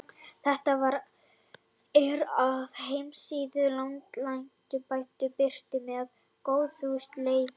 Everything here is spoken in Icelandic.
Þetta svar er af heimasíðu Landlæknisembættisins og birt með góðfúslegu leyfi.